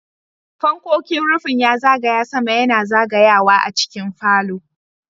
Fannonin rufin ya zagaya sama yana zagayawa a cikin falo.